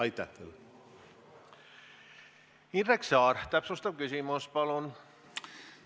Indrek Saar, täpsustav küsimus, palun!